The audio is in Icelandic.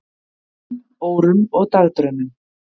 um, órum og dagdraumum.